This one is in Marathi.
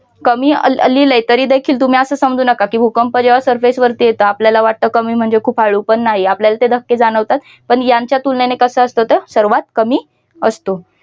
कमी लिहिलय मी देखील तुम्ही असं समजू नका की भूकंप जेव्हा surface वरती येत आपल्याला वाटत कमी म्हणजे खूप हळू पण नाही आपल्याकडे धक्के जाणवतात पण यांच्या तुलनेने कसं असतं तर सर्वात कमी असतो.